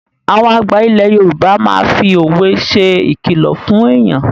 Àwọn àgbà ilẹ̀ Yorùbá máa fi òwe ṣe ìkìlọ̀ fún èyàn.